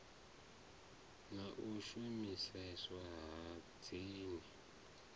na u shumiseswa ha dzin